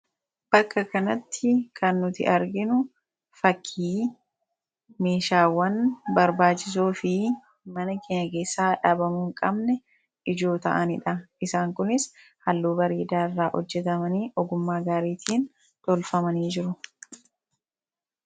Bakka kanatti kan nuti arginu fakkii meeshaawwan barbaachisoo fi mana keenya keessaa dhabamuu hinqabne ijoo ta'anidha. Isaan kunis halluu bareedaa irraa hojjetamanii ogummaa gaariitiin tolfamanii jiru.